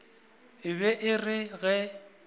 e be e re ge